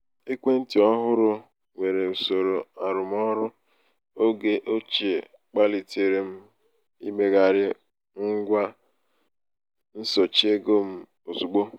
ekwentị ọhụrụ nwere usoro arụmọrụ oge ochie kpalitere m imegharị ngwa nsochi ego m ozugbo.